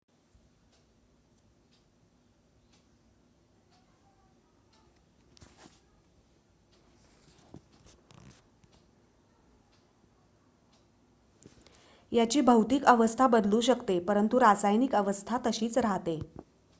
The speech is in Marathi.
याची भौतिक अवस्था बदलू शकते परंतु रासायनिक अवस्था तशीच राहते